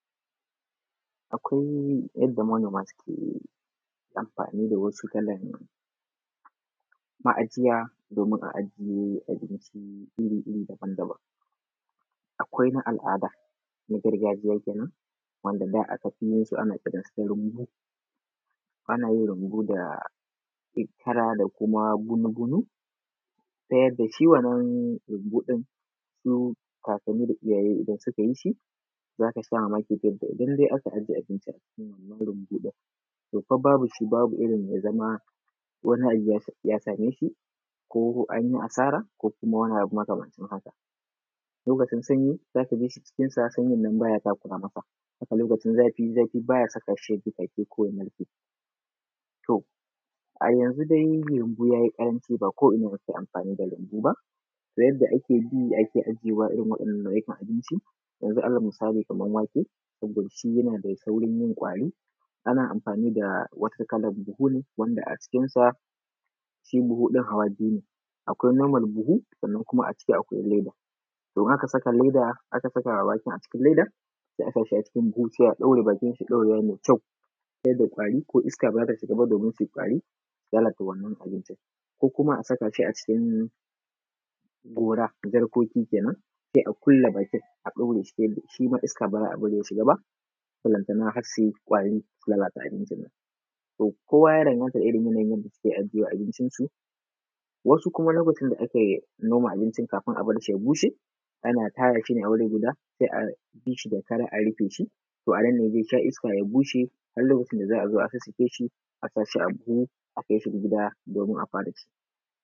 Akwai yanda manoma suke anfani da wasu kalan ma’ajiya domin a ajiye abinci iri-iri daban-daban, akwai na al’ada na gargajiya kenan wanda da aka fi yin su, ana kiransu da runbu, ana yin runbu da kara da kuma gumu-gumu ta yadda shi wannan runbu ɗin su kakanni da iyaye idan suka yi shi. Za ka sha mamaki ta yanda idan dai ake ajje abinci a cikin wannan runbu ɗin, to fa babu shi, babu irin ya zama wani abu ya same shi ko an yi asara, ko kuma wani abu makamancin haka lokacin sanyi za ka jishi cikin sa sanyin nan baya takura masa. Haka lokacin zafi, zafi baya sakashi ya dishashe ko ya narke to a yanzu dai runbu ya yi ƙaranci ba ko’ina ake anfani da runbu ba, ta yanda ake bi ake ajjewa irin wannan nau'ikan abinci, yanzu alal misali, kaman wake wanda shi yana da saurin yin kwari, ana amfani da wata kalan buhun wanda a cikinsa shi buhu din hawa biyu ne; akwai nomal buhu sannan kuma a ciki akwai leda to in aka saka leda aka saka waken a cikin ledan se a sa shi a cikin buhu sai a ɗaure bakinsa, ɗaurewa me kyau ta yadda kwari ko iska ba zai shiga ba domin suyi kwari su lalata wannan abincin ko kuma a saka shi a cikin gora jarkoki kenan, se a ƙulle bakin a ɗure shi ta yadda shi ma iska ba za a bari ya shiga ba balantana har su yi kwari su lalata abincin. To, kowa ya danganta da irin yanayin yanda suke ajje abincinsu, wasu kuma lokacin da akai noma abincin kafin a bar shi ya bushe ana tara shi ne a wuri guda se a bi shi da kara a rufe shi, anan ne ze sha iska ya bushe, har lokacin da za a zo a sassake shi, a sa shi a buhu a kai shi gida domin a fara ci.